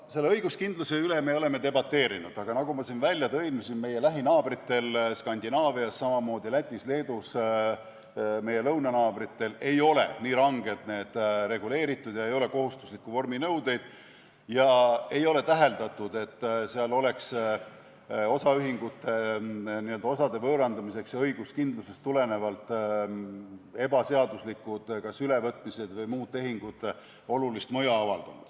Selle õiguskindluse üle me oleme debateerinud, aga nagu ma siin välja tõin, meie lähinaabritel Skandinaavias, samamoodi Lätis ja Leedus ehk meie lõunanaabritel ei ole nii rangelt need asjad reguleeritud, ei ole kohustuslikke vorminõudeid ega ole täheldatud, et seal oleks osaühingute osade võõrandamisel õiguskindlusest tulenevalt kas ebaseaduslikud ülevõtmised või muud tehingud olulist mõju avaldanud.